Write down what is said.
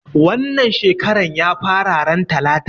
Wannan shekaran ya fara ran talata